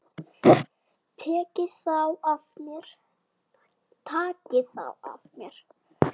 Tekið þá af mér.